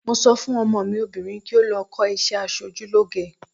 Mo sọ fún ọmọ mi obìnrin kí ó lọ kọ́ iṣẹ́ asojúlóge.